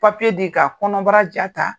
Papiye di ka kɔnɔnbara ja ta.